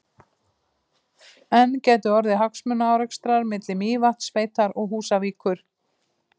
En gætu orðið hagsmunaárekstrar milli Mývatnssveitar og Húsavíkur?